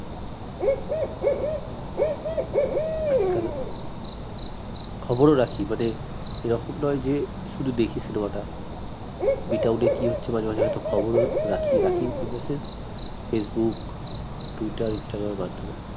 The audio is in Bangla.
আজকাল খবরও রাখি মানে এ রকম নয় যে শুধু দেখি cinema টা B town এ কি হচ্ছে মাঝে মাঝে হয়ত খবরও রাখি রাখি in the sense facebook twitter instagram এর মাধ্যমে